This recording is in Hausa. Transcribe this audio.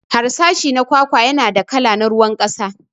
Harsashi na kwakwa yana da kala na ruwan kasa.